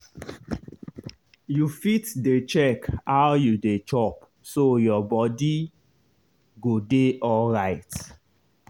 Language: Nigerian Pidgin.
you fit dey check how you dey chop so your body go dey alright.